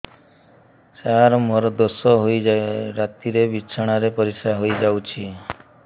ସାର ମୋର ଦୋଷ ହୋଇ ରାତିରେ ବିଛଣାରେ ପରିସ୍ରା ହୋଇ ଯାଉଛି